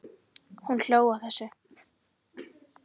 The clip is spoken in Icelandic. Hún hló að þessu.